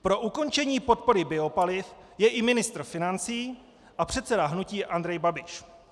Pro ukončení podpory biopaliv je i ministr financí a předseda hnutí Andrej Babiš.